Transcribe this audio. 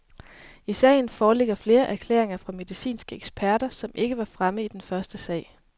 I sagen foreligger flere erklæringer fra medicinske eksperter, som ikke var fremme i den første sag.